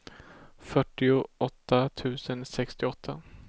fyrtioåtta tusen sextioåtta